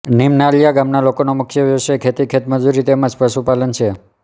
નીમનાલીયા ગામના લોકોનો મુખ્ય વ્યવસાય ખેતી ખેતમજૂરી તેમ જ પશુપાલન છે